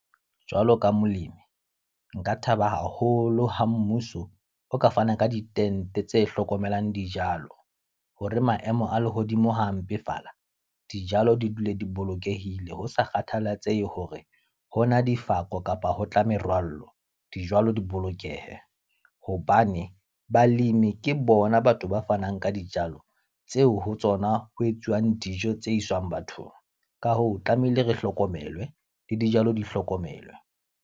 Jwalo ka molemi, nka thaba haholo ha mmuso o ka fana ka ditente tse hlokomelang dijalo. Hore maemo a lehodimo ha a mpefala, dijalo di dule di bolokehile. Ho sa kgathalatsehe hore ho na difako kapa ho tla merwallo, dijalo di bolokehe. Hobane balemi ke bona batho ba fanang ka dijalo tseo ho tsona ho etsuwang dijo tse iswang bathong. Ka hoo, tlamehile re hlokomelwe, le dijalo di hlokomelwe.